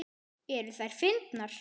Eru þær fyndnar?